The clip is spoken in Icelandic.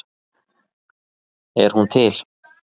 Er hún til?